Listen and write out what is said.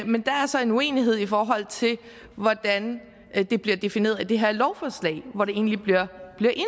men der er så en uenighed i forhold til hvordan det bliver defineret i det her lovforslag hvor det egentlig bliver